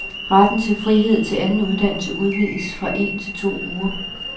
Ret til frihed til anden uddannelse udvides fra en til to uger.